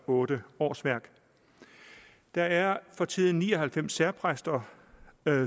8 årsværk der er for tiden ni og halvfems særpræster